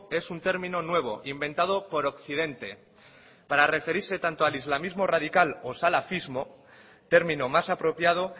es un término nuevo inventado por occidente para referirse tanto al islamismo radical o salafismo término más apropiado